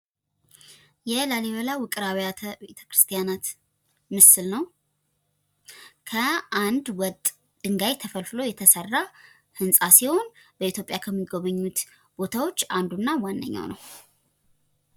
የላሊበላ ውቅር አብያተ ቤተክርስቲያናት ምስል ነው :: ከአንድ ወጥ ድንጋይ ተፈልፍሎ የተሰራ ህንፃ ሲሆን በኢትዮጵያ ከሚጎበኙት ቦታዎች አንዱ እና ዋነኛው ነው ::